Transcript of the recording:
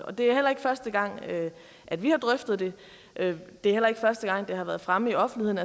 det er heller ikke første gang at vi har drøftet det det er heller ikke første gang det har været fremme i offentligheden